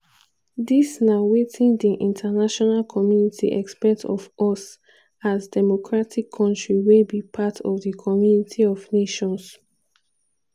"dis na wetin di international community expect of us as democratic kontri wey be part of di community of nations."